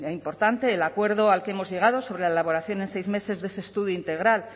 importante el acuerdo al que hemos llegado sobre la elaboración en seis meses de ese estudio integral